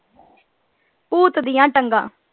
ਊਠ ਦੀਆਂ ਟੰਗਾਂ।